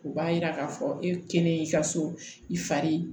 O b'a yira k'a fɔ e kelen y'i ka so i fari